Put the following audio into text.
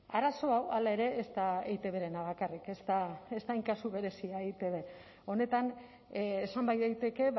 arazoa hala ere ez da eitbrena bakarrik ez da hain kasu berezia eitb honetan esan bai daiteke